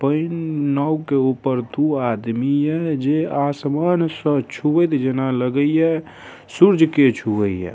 Pan नाव के ऊपर दो आदमी हैं जे आसमान स छुवत जैना लगाई ऐ सूरज के छुअइ ऐ।